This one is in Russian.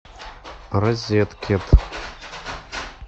розеткед